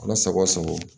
O mana sago sago